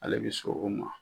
Ale bɛ so o ma.